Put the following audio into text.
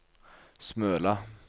Smøla